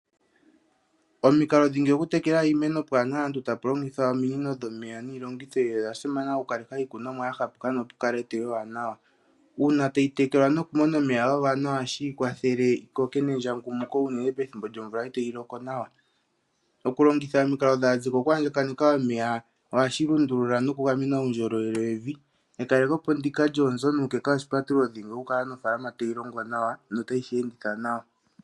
Omikalo dhingi oku tekela iimeno pwaana aantu tapu longithwa ominino dhomeya niilongitho oya simana oku kalitha iikunomwa ya hapuka nopu kala eteyo ewanawa. Uuna tayi tekelwa no kumona omeya ga gwana ohashi kwathele yi koke nendjangumuko unene pethimbo lyomvula itayi loko nawa. Oku longitha omikalo dhaazeko okwaandjakaneka omeya ohashi lundulula noku gamena uundjolowele wevi. Ekalekopo ndika lyoonzo nuukeka oshipatululo dhingi oka kala nofaalama tayi longwa nawa no tayi shi enditha nawa.